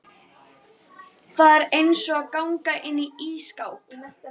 Það er eins og að ganga inn í ísskáp.